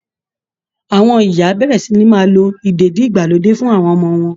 Àwọn ìyá á bẹ̀rẹ̀ sí ní máa lo ìdèdí-ìgbàlódé fún àwọn ọmọ wọn